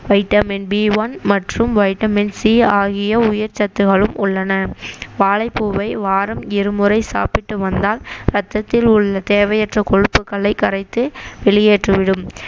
vitamin B one மற்றும் vitamin C ஆகிய உயிர்ச்சத்துக்களும் உள்ளன வாழைப்பூவை வாரம் இருமுறை சாப்பிட்டு வந்தால் ரத்தத்தில் உள்ள தேவையற்ற கொழுப்புக்களை கரைத்து வெளியேற்றிவிடும்